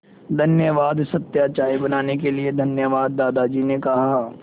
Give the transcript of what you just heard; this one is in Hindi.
धन्यवाद सत्या चाय बनाने के लिए धन्यवाद दादाजी ने कहा